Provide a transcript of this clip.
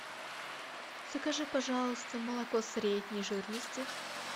закажи пожалуйста молоко средней жирности